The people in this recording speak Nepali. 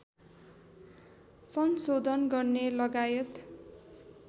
संशोधन गर्ने लगायत